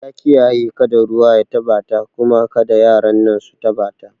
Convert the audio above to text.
Ya kiyaye kada ruwa ya taɓa ta kuma kada yaran nan su taba suma